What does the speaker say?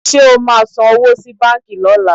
Ṣé o máa san owó sí báǹkì lọ́la?